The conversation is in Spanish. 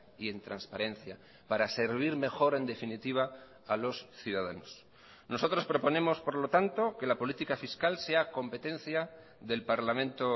y en transparencia para servir mejor en definitiva a los ciudadanos nosotros proponemos por lo tanto que la política fiscal sea competencia del parlamento